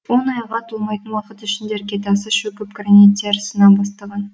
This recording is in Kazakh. он айға толмайтын уақыт ішінде іргетасы шөгіп граниттері сына бастаған